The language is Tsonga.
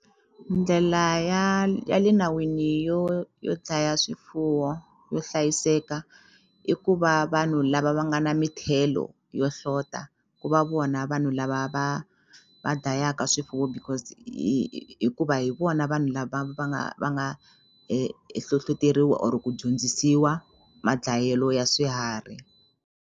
Ndlela ya ya le nawini yo yo dlaya swifuwo yo hlayiseka i ku va vanhu lava va nga na mithelo yo hlota ku va vona vanhu lava va va dlayaka swifuwo because hikuva hi vona vanhu lava va nga va nga hlohloteriwa or ku dyondzisiwa ma dlayelo ya swiharhi.